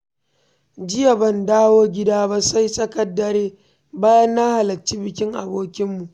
Jiya ban dawo gida ba sai tsakar dare bayan na halarci bikin abokinmu.